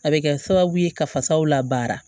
A bɛ kɛ sababu ye ka fasaw la baara